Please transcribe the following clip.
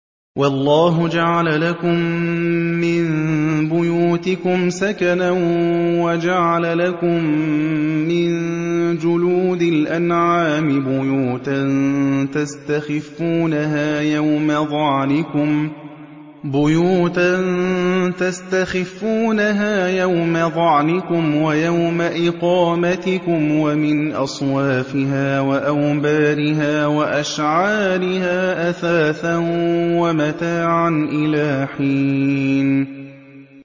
وَاللَّهُ جَعَلَ لَكُم مِّن بُيُوتِكُمْ سَكَنًا وَجَعَلَ لَكُم مِّن جُلُودِ الْأَنْعَامِ بُيُوتًا تَسْتَخِفُّونَهَا يَوْمَ ظَعْنِكُمْ وَيَوْمَ إِقَامَتِكُمْ ۙ وَمِنْ أَصْوَافِهَا وَأَوْبَارِهَا وَأَشْعَارِهَا أَثَاثًا وَمَتَاعًا إِلَىٰ حِينٍ